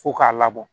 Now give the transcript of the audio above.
Fo k'a labɔ